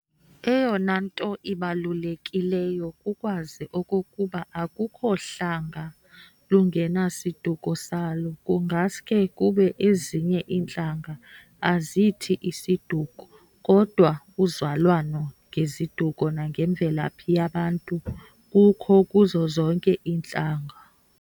Eyona nto ibalulekileyo kukwazi okokuba akukho hlanga lungenasiduko salo, kungaske kube ezinye intlanga azithi 'siduko' kodwa uzalwano ngeziduko nangemvelaphi yabantu kukho kuzo zonke iintlanga.